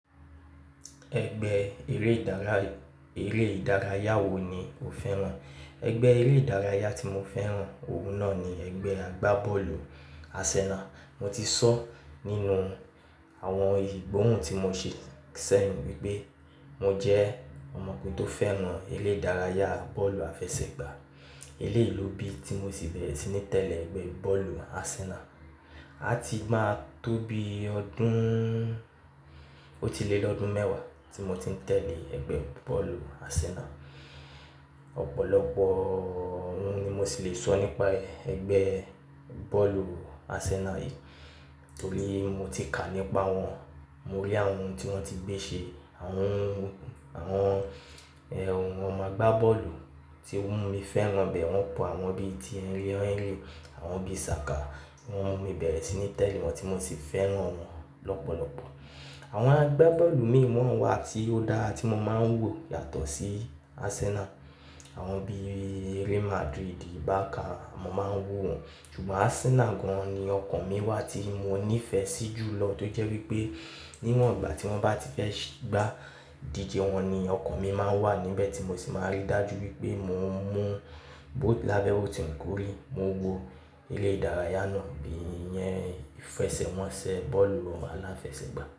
Ẹgbẹ́ eré ìdárayá wo ni o fẹ́ràn? Ẹgbẹ́ eré ìdárayá tí mo fẹ́ràn òun náà ni ẹgbẹ́ àgbá bọ́ọ̀lù Arsenal. Mo ti sọ nínú àwọn ìgbóhùn tí mo ṣe sẹ́yìn wípé mo jẹ́ ọmọkùnrin tó fẹ́ràn eré ìdárayá bọ́ọ̀lù àfẹsẹ̀gbá. Eré lóbì tí mo sì bẹ̀rẹ̀ sí ní tẹ̀lé ẹgbẹ́ bọ́ọ̀lù Arsenal. A ti máa tó bi ọdún, ó ti lé lọ́dún mẹ́wàá tí mo ti ń tẹ̀lé ẹgbẹ́ bọ́ọ̀lù Arsenal. Ọ̀pọ̀lọpọ̀ ohun ni mo ṣì lè sọ nípa ẹgbẹ́ bọ́ọ̀lù Arsenal yìí, torí mo ti kà nípa wọn, mo rí àwọn ohun tí wón ti gbé ṣe, àwọn, àwọn, ọmọ agbá bọ́ọ̀lù tí o mu mi fẹ́ràn bẹ́ẹ̀, wọn pọ̀ àwọn bí i Thierry Henry, àwọn bí i Saka tí wọn mu mi bẹ̀rẹ̀ sí ní tẹ̀lé wọn tí mo sì fẹ́ràn wọn lọ́pọ̀lọpọ̀. Àwọn agbá bọ́ọ̀lù mìíràn wà tí ó dáa tí mo máa ń wò yàtọ̀ sí Arsenal. Àwọn bí i Real Madrid, Barca, mo máa ń wò wọn. Ṣùgbọ́n Arsenal gan-an ni ọkàn mi wà tí mo nífẹ̀ẹ́ sí jù lọ tí ó jẹ́ wípé níwọ̀n ìgbà tí wón bá ti fẹ́ gbá ìdíje wọn ni ọkàn mi máa ń wà níbẹ̀ tí mo sì máa rí dájú wípé mo ń mú bo lábẹ́ òòti wu kori, mo ń wo eré ìdárayá náà bí i ìyẹn ìfẹsẹ̀wọnsẹ̀ bọ́ọ̀lù aláfẹsẹ̀gbá.